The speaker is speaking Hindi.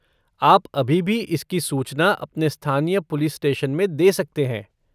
आप अभी भी इसकी सूचना अपने स्थानीय पुलिस स्टेशन में दे सकते हैं।